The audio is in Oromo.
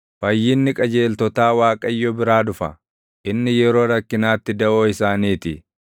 Fayyinni qajeeltotaa Waaqayyo biraa dhufa; inni yeroo rakkinaatti daʼoo isaanii ti.